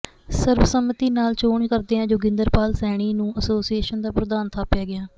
ਸਰਬਸੰਮਤੀ ਨਾਲ ਚੋਣ ਕਰਦਿਆਂ ਜੋਗਿੰਦਰ ਪਾਲ ਸੈਣੀ ਨੂੰ ਐਸੋਸੀਏਸ਼ਨ ਦਾ ਪ੍ਰਧਾਨ ਥਾਪਿਆ ਗਿਆ